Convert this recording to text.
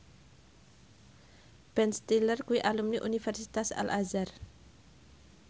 Ben Stiller kuwi alumni Universitas Al Azhar